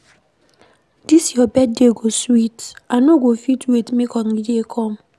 Dis your birthday go sweet, I no go fit wait make holiday come.